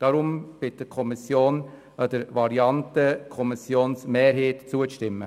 Deshalb bittet die Kommission den Rat, der Variante der Kommissionsmehrheit zuzustimmen.